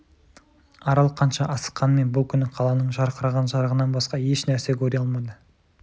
арал қанша асыққанымен бұл күні қаланың жарқыраған жарығынан басқа еш нәрсе көре алмады